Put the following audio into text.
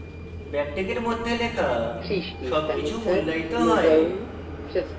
ব্যাকটিকের মধ্যে লেখা সবকিছু মূল্যায়িত হয়